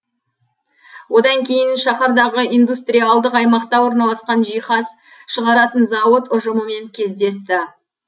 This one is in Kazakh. одан кейін шахардағы индустриалдық аймақта орналасқан жиһаз шығаратын зауыт ұжымымен кездесті